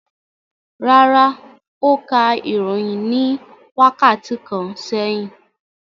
Rárá, ó ka ìròyìn ní wákàtí kan sẹ́yìn.